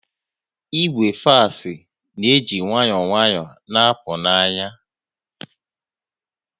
Igwe fax na-eji nwayọọ nwayọọ na-apụ n'anya